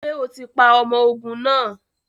Ṣe o ti pa ọmọ ogun naa!?